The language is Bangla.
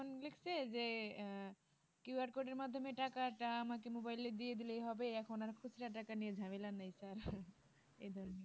দেখছে যে আহ QR code মাধ্যমে টাকাটা আমাকে mobile দিয়ে দিলেই হবে এখন আর খুচরা টাকা নিয়ে ঝামেলা নাই আর এই জন্য